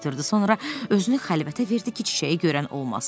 Sonra özünü xəlvətə verdi ki, çiçəyi görən olmasın.